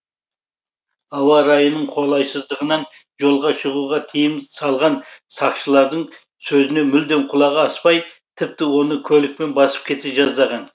ауа райының қолайсыздығынан жолға шығуға тыйым салған сақшылардың сөзіне мүлдем құлағы аспай тіпті оны көлікпен басып кете жаздаған